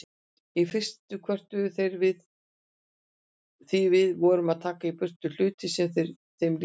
Í fyrstu kvörtuðu þeir því við vorum að taka í burtu hluti sem þeim líkaði.